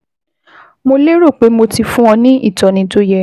Mo léro pé mo ti fún ọ ní ìtọ́ni tó yẹ